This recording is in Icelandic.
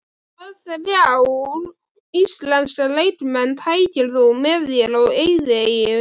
Hvaða þrjá íslenska leikmenn tækir þú með þér á eyðieyju?